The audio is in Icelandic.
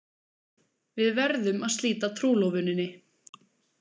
Við verðum að slíta trúlofuninni.